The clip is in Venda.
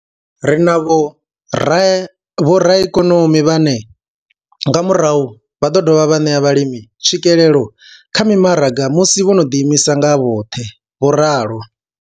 Ri na vhoraikonomi vhane nga murahu vha ḓo dovha vha ṋea vhalimi tswikelelo kha mimaraga musi vho no ḓiimisa nga vhoṱhe. vho ralo.